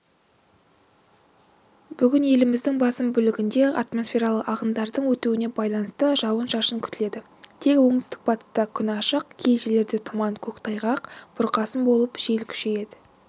бүгінеліміздің басым бөлігінде атмосфералық ағындардың өтуіне байланысты жауын-шашын күтіледі тек оңтүстік-батыста күн ашық кей жерлерде тұман көктайғақ бұрқасын болып жел күшейеді